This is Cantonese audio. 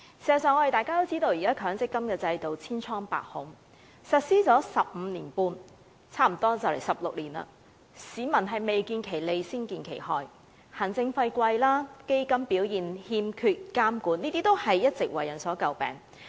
事實上，現時的強積金制度千瘡百孔，實施了十五六年，市民未見其利，先見其害，行政費高昂、投資的基金欠缺監管等弊端，一直為人詬病。